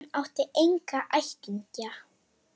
Hún átti enga ættingja.